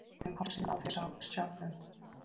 Um hálsinn á þér sjálfum!